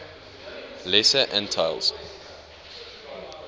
lesser antilles